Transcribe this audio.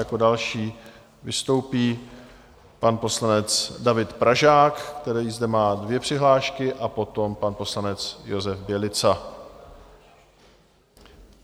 Jako další vystoupí pan poslanec David Pražák, který zde má dvě přihlášky, a potom pan poslanec Josef Bělica.